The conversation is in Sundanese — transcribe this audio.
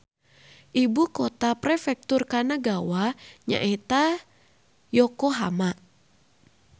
Ibu kota Prefektur Kanagawa nyaeta Yokohama